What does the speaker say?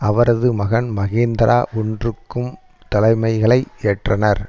அவரது மகன் மஹேந்திரா ஒன்றுக்கும் தலைமைகளை ஏற்றனர்